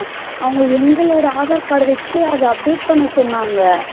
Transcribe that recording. அவங்க எங்களோட aadhar card டு வச்சி அத update பண்ண சொன்னாங்க